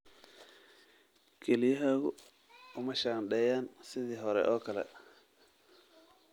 Kelyahaagu uma shaandheeyaan sidii hore oo kale.